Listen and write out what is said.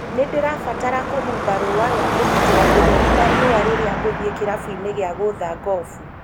Nĩ ndĩrabatara kũhumba rũũa rwa kũgitĩra ũtheri wa riũa rĩrĩa ngũthiĩ kĩrabu-inĩ gĩa gũũtha gofu